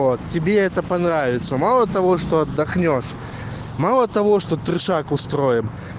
вот тебе это понравится мало того что отдохнёшь мало того что трешак устроим